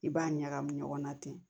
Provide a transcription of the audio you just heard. I b'a ɲagami ɲɔgɔn na ten